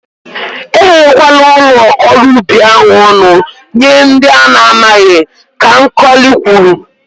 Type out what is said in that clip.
E ghewe kwala ụlọ ọrụ ubi ahụ ọnụ nye ndị ana amaghị, Ka Nkọli kwuru.